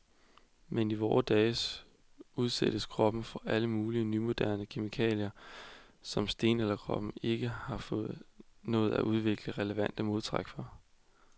Men i vore dage udsættes kroppen for alle hånde nymodens kemikalier, som stenalderkroppen ikke har nået at udvikle relevante modtræk overfor.